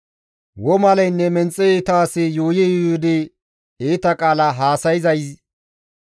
Womaleynne menxe iita asi yuuyi yuuyidi iita qaala haasayzay,